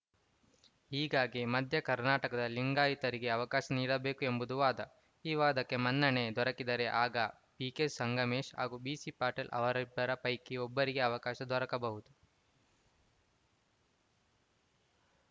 ಹೀಗಾಗಿ ಮಧ್ಯ ಕರ್ನಾಟಕದ ಲಿಂಗಾಯತರಿಗೆ ಅವಕಾಶ ನೀಡಬೇಕು ಎಂಬುದು ವಾದ ಈ ವಾದಕ್ಕೆ ಮನ್ನಣೆ ದೊರಕಿದರೆ ಆಗ ಬಿಕೆ ಸಂಗಮೇಶ್‌ ಹಾಗೂ ಬಿಸಿ ಪಾಟೀಲ್‌ ಅವರಿಬ್ಬರ ಪೈಕಿ ಒಬ್ಬರಿಗೆ ಅವಕಾಶ ದೊರಕಬಹುದು